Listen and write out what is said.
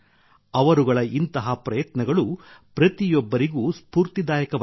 ಅವರುಗಳ ಇಂತಹ ಪ್ರಯತ್ನಗಳು ಪ್ರತಿಯೊಬ್ಬರಿಗೂ ಸ್ಫೂರ್ತಿದಾಯಕವಾಗಿವೆ